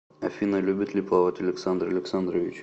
афина любит ли плавать александр александрович